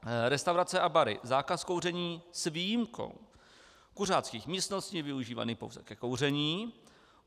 Restaurace a bary - zákaz kouření s výjimkou kuřáckých místností využívaných pouze ke kouření.